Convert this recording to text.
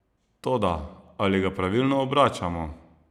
Toda, ali ga pravilno obračamo?